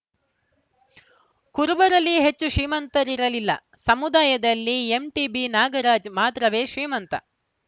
ಕುರುಬರಲ್ಲಿ ಹೆಚ್ಚು ಶ್ರೀಮಂತರಿರಲಿಲ್ಲ ಸಮುದಾಯದಲ್ಲಿ ಎಂಟಿಬಿ ನಾಗರಾಜ್‌ ಮಾತ್ರವೇ ಶ್ರೀಮಂತ